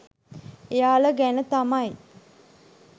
එයාල ගැන තමයි